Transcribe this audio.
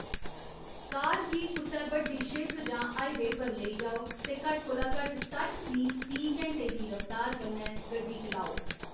कार गी कुसै बड्डी सिड़क जां हाईवे पर लेई जाओ ते घट्ट कोला घट्ट सट्ठ मील फी घैंटे दी रफ्तार कन्नै गड्डी चलाओ।